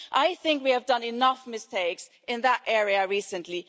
I think we have made enough mistakes in that area recently.